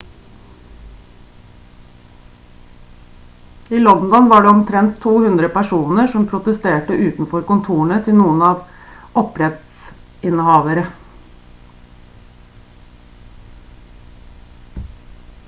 i london var det omtrent 200 personer som protesterte utenfor kontorene til noen opphavsrettsinnehavere